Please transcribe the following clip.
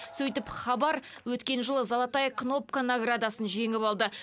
сөйтіп хабар өткен жылы золотая кнопка наградасын жеңіп алды